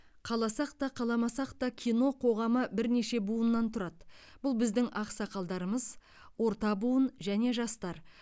қаласақ та қаламасақ та кино қоғамы бірнеше буыннан тұрады бұл біздің ақсақалдарымыз орта буын және жастар